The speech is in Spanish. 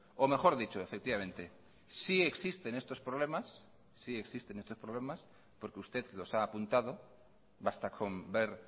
o mejor dicho efectivamente sí existen estos problemas porque usted los ha apuntado basta con ver